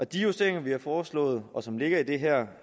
de justeringer vi har foreslået og som ligger i det her